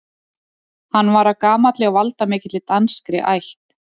Hann var af gamalli og valdamikilli danskri ætt.